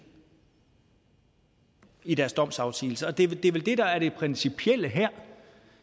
i deres domsafsigelse det er vel det der er det principielle her